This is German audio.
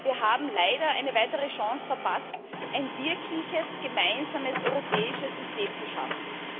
Wir haben leider eine weitere Chance verpasst, ein wirkliches gemeinsames europäisches System zu schaffen.